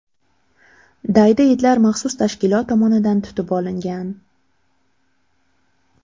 Daydi itlar maxsus tashkilot tomonidan tutib olingan.